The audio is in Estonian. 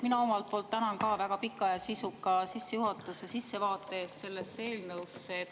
Mina omalt poolt tänan ka väga pika ja sisuka sissevaate eest sellesse eelnõusse.